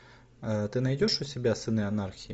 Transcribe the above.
ты найдешь у себя сыны анархии